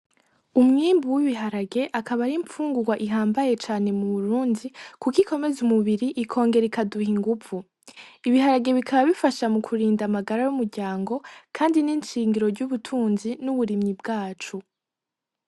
Umwimbu w'ibiharage ikaba ari imfungurwa ihambaye cane mu Burundi, kuko ikomeza umubiri ikongera ikaduha inguvu. Ibiharage bikaba bifasha mu kurinda amagara y'umuryango kandi ni ishingiro ry'ubutunzi n'uburimyi bwacu.